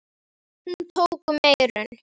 Hún tók um eyrun.